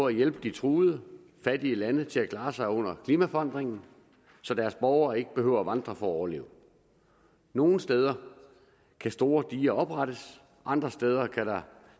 at hjælpe de truede fattige lande til at klare sig under klimaforandringerne så deres borgere ikke behøver at vandre for at overleve nogle steder kan store diger oprettes andre steder kan der